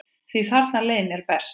Því þarna leið mér best.